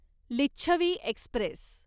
Licchavi Express